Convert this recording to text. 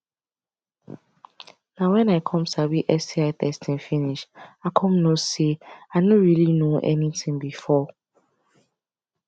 na when i come sabi sti testing finish i come know say i no really know anything before